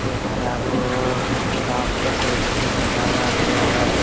ये चारों ओर काफी कुर्सी लगाया गया है।